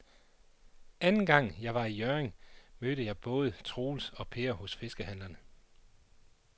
Anden gang jeg var i Hjørring, mødte jeg både Troels og Per hos fiskehandlerne.